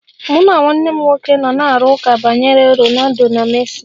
Mụ na nwanne m nwoke nọ na-arụ ụka banyere Ronaldo na Messi.